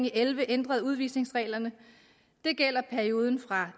og elleve ændrede udvisningsreglerne det gælder perioden fra